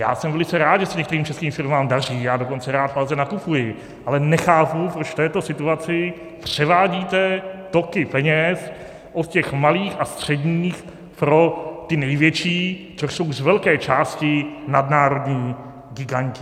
Já jsem velice rád, že se některým českým firmám daří, já dokonce rád v Alze nakupuji, ale nechápu, proč v této situaci převádíte toky peněz od těch malých a středních pro ty největší, což jsou z velké části nadnárodní giganti.